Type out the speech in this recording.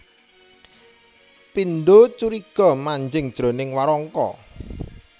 Pindha curiga manjing jroning warangka